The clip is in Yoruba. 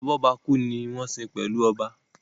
Abọ́bakú ni wọ́n ń sin pẹ̀lú oba